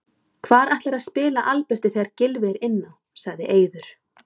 Hvar ætlarðu að spila Alberti þegar Gylfi er inn á? sagði Eiður.